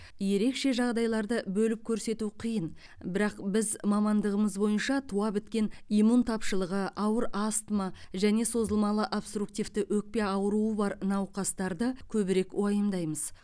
ерекше жағдайларды бөліп көрсету қиын бірақ біз мамандығымыз бойынша туа біткен иммун тапшылығы ауыр астма және созылмалы обструктивті өкпе ауруы бар науқастарды көбірек уайымдаймыз